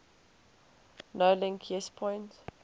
nolink yes point